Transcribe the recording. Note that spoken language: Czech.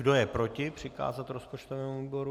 Kdo je proti přikázání rozpočtovému výboru?